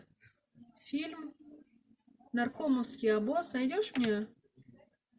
фильм наркомовский обоз найдешь мне